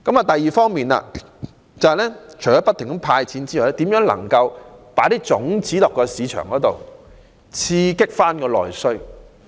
第二方面，除了派發金錢之外，亦要研究如何在市場播種，刺激內需。